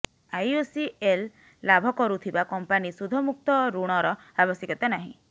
IOCL ଲାଭ କରୁଥିବା company ସୁଧମୁକ୍ତ ଋଣର ଆବଶ୍ୟକତା ନାହିଁ